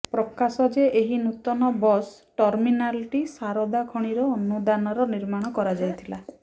ପ୍ରକାଶ ଯେ ଏହି ନୂତନ ବସ୍ ଟର୍ମିନାଲଟି ଶାରଦା ଖଣିର ଅନୁଦାନର ନିର୍ମାଣ କରାଯାଇଥିଲା